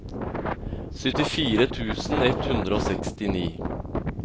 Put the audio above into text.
syttifire tusen ett hundre og sekstini